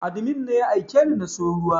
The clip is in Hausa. Admin ne ya aikeni na siyu ruwa